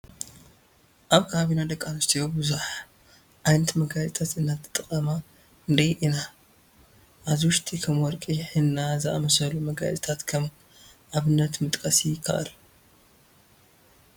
ኣብ ከባቢና ደቂ ኣንስትዮ ብዙሕ ዓይነት መገያየፂ እንትጥቀማ ንርኢ ኢና፡፡ ካብዚ ውሽጢ ከም ወርቂ ሒና ዝኣምሰሉ መጋየፅታት ከም ኣብነት ምጥቃስ ይከኣል፡፡